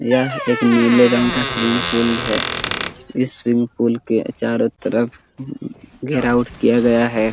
यहा एक नीले रंग का सवीग पूल यहा सवीग पूल के चारों तरफ घेराओ किया गया है।